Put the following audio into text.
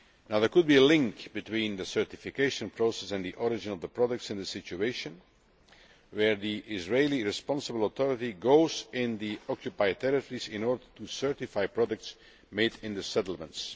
There could be a link between the certification process and the origin of the products in a situation where the Israeli responsible authority goes into the occupied territories in order to certify products made in the settlements.